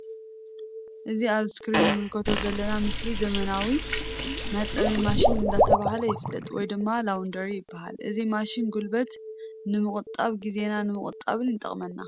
እዚ ኣብ እስክሪን እንምልከቶ ዘለና ምስሊ ዘመናዊ መሕጸቢ ማሽን እንዳተብሃለ ይፍለጥ ወይ ድማ ላውንደሪ ይበሃል። እዚ ማሽን ጉልበት ንምቁጣብን ግዜና ንምቁጣብን ይጠቅመና ።